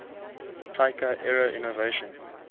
taika era innovation